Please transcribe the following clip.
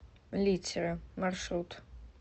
литера маршрут